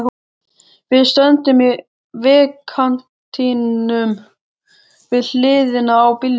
Við stöndum í vegkantinum, við hliðina á bílnum.